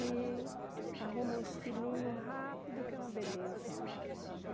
E arruma uns filhinhos rápido, que é uma beleza.